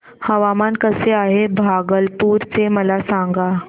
हवामान कसे आहे भागलपुर चे मला सांगा